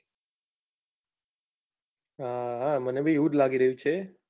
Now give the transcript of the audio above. હા હા મને બી એવું જ લાગી રહ્યું છે.